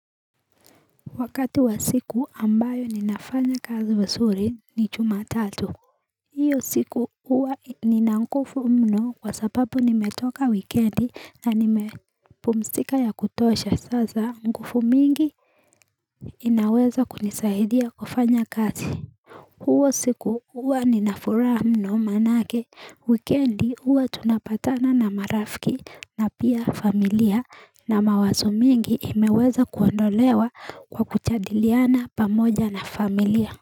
Wakati wa siku ambayo ninafanya kazi vizuri ni jumatatu hiyo siku huwa nina nguvu mno kwa sababu nimetoka wikendi na nimepumzika ya kutosha sasa nguvu mingi inaweza kunisahidia kufanya kazi huo siku huwa ninafuraha mno maanake, wikendi huwa tunapatana na marafiki na pia familia na mawazo mingi imeweza kuondolewa kwa kujadiliana pamoja na familia.